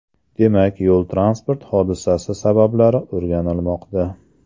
Demak, yo‘l-transport hodisasi sabablari o‘rganilmoqda.